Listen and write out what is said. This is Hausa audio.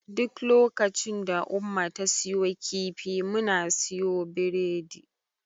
Duk lokacin da Umma ta siyo kifi, muna siyo biredi.